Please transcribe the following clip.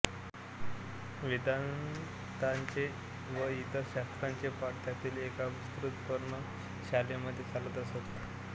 वेदान्ताचे व इतर शास्त्रांचे पाठ त्यांतील एका विस्तृत पर्णशालेमध्ये चालत असत